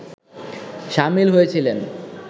সামিল হয়েছিলেন